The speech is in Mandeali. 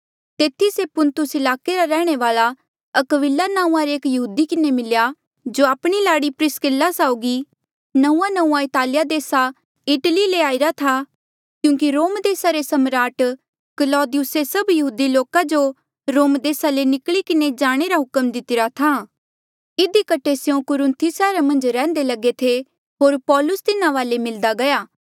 तेथी से पुन्तुस ईलाके रा रैहणे वाल्आ अक्विला नांऊँआं रे एक यहूदी किन्हें मिल्या जो आपणी लाड़ी प्रिसकिल्ला साउगी नंऊँआंनंऊँआं इतालिया देसा इटली ले आईरा था क्यूंकि रोम देसा री सम्राट क्लौदियुसे सभ यहूदी लोका जो रोम देसा ले निकली जाणे रा हुक्म दितिरा था इधी कठे स्यों कुरुन्थी सैहरा मन्झ रैह्न्दे लगे थे होर पौलुस तिन्हा वाले मिलदा गया